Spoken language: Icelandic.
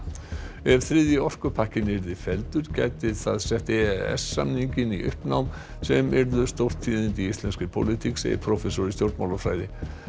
ef þriðji orkupakkinn yrði felldur gæti það sett e s samninginn í uppnám sem yrðu stórtíðindi í íslenskri pólitík segir prófessor í stjórnmálafræði